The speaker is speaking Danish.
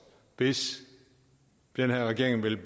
hvis den her regering vil